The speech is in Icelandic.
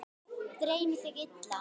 Dreymdi þig illa?